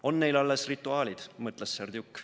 "On neil alles rituaalid," mõtles Serdjuk.